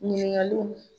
Ɲininkaliw